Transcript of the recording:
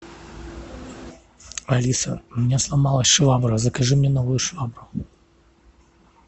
алиса у меня сломалась швабра закажи мне новую швабру